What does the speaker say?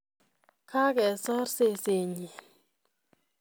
Kagesor sesenyi